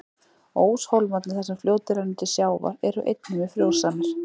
Óshólmarnir, þar sem fljótið rennur til sjávar, eru einnig mjög frjósamir.